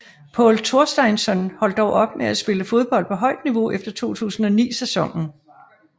Pól Thorsteinsson holdt dog op med at spille fodbold på højt niveau efter 2009 sæsonen